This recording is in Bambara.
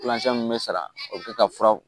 mun bɛ sara o bɛ kɛ ka fura